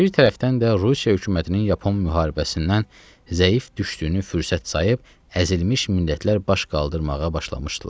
Bir tərəfdən də Rusiya hökumətinin Yapon müharibəsindən zəif düşdüyünü fürsət sayıb əzilmiş millətlər baş qaldırmağa başlamışdılar.